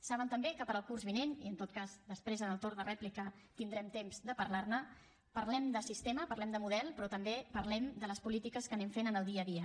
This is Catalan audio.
saben també que per al curs vinent i en tot cas després en el torn de rèplica tindrem temps de parlar ne parlem de sistema parlem de model però també parlem de les polítiques que anem fent en el dia a dia